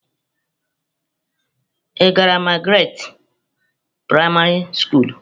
Ị gara Magaratị praịmarị skulu?